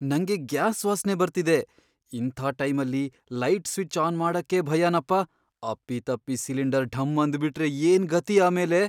ನಂಗೆ ಗ್ಯಾಸ್ ವಾಸ್ನೆ ಬರ್ತಿದೆ, ಇಂಥ ಟೈಮಲ್ಲಿ ಲೈಟ್ ಸ್ವಿಚ್ ಆನ್ ಮಾಡಕ್ಕೇ ಭಯನಪ್ಪ! ಅಪ್ಪಿತಪ್ಪಿ ಸಿಲಿಂಡರ್ ಢಮ್ ಅಂದ್ಬಿಟ್ರೆ ಏನ್ ಗತಿ ಆಮೇಲೆ!